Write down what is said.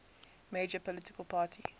major political party